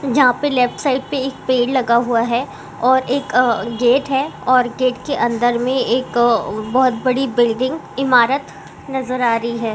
जहा पे left side पे एक पेड़ लगा हुआ है और एक गेट है और गेट के अंदर मे एक अ. . बहोत बड़ी बिल्डिंग इमारत नजर आ रही है।